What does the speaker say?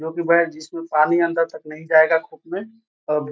जो की बैग जिसमें पानी अंदर तक नहीं जायेगा में अब --